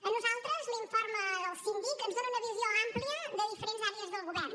a nosaltres l’informe del síndic ens dóna una visió àmplia de diferents àrees del govern